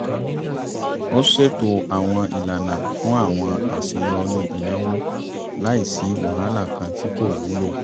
ó ṣètò àwọn ìlànà fún àwọn àṣeyọrí ìnáwó láì sí wàhálà kan tí kò wúlò